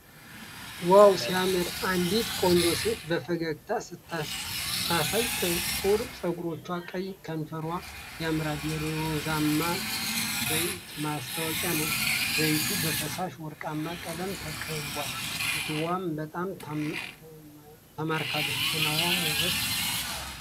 ዋው ሲያምር! አንዲት ቆንጆ ሴት በፈገግታ ስታሳይ! ጥቁር ፀጉሯና ቀይ ከንፈሯ ያምራሉ። የሮዝመሪ ዘይት ማስታወቂያ ነው። ዘይቱ በፈሳሽ ወርቃማ ቀለም ተከቧል። ሴትየዋ በጣም ትማርካለች። ጤናማ ውበት ሲያስደስት!